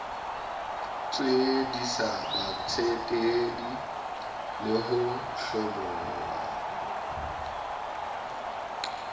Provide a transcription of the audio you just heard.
tswellisa batsetedi le ho hlabolla